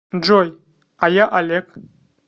джой а я олег